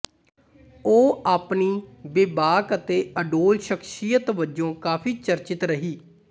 ਉਹ ਆਪਣੀ ਬੇਬਾਕ ਅਤੇ ਅਡੋਲ ਸ਼ਖ਼ਸੀਅਤ ਵਜੋਂ ਕਾਫ਼ੀ ਚਰਚਿਤ ਰਹੀ